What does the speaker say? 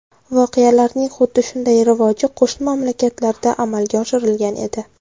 Voqealarning xuddi shunday rivoji qo‘shni mamlakatlarda amalga oshirilgan edi.